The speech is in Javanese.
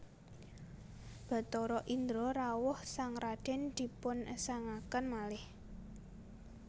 Bathara Indra rawuh sang radèn dipungesangaken malih